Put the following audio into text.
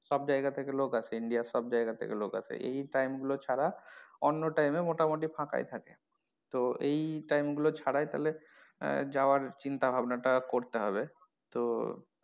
সব জায়গা থেকে লোক আসে India র সব জায়গা থেকে লোক আসে এই time গুলো ছাড়া অন্য time এ মোটামটি ফাঁকাই থাকে তো এই time গুলো ছাড়াই তাহলে যাওয়ার চিন্তা ভাবনা করতে হবে তো,